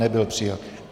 Nebyl přijat.